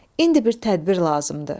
İndi bir tədbir lazımdır.